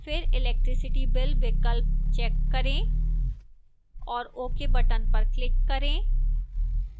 फिर electricity bill विकल्प check करें और ok button पर click करें